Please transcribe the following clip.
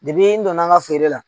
Depi n donna n ka feere la